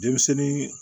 Denmisɛnnin